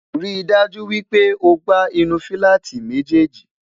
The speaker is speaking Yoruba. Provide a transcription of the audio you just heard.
rí dájú wípé ọgbà inú filati méjèjì